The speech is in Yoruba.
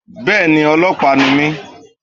Bẹ́ẹ̀ni ọlọ́pàá ni mí